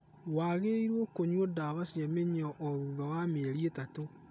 Wagĩrĩiruo kũnyua ndawa cia mĩnyoo o thutha wa mĩeri ĩtatũ.